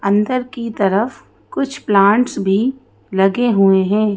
अंदर की तरफ कुछ प्लांट्स भी लगे हुए हैं।